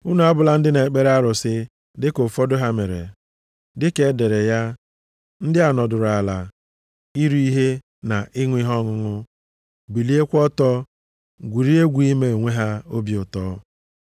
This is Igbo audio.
Unu abụla ndị na-ekpere arụsị dịka ụfọdụ ha mere. Dịka e dere ya, “Ndị a nọdụrụ ala iri ihe na ịṅụ ihe ọṅụṅụ, biliekwa ọtọ gwurie egwu ime onwe ha obi ụtọ.” + 10:7 \+xt Ọpụ 32:6\+xt*